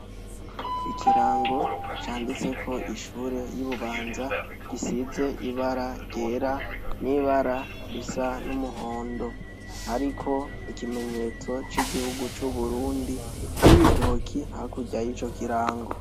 Ikirango canditseko ishure y' iBubanza gisize ibara ryera n' ibara risa n' umuhondo hariko ikimenyetso c' igihugu c' Uburundi n' ibitoki hakurya y' ico kirango.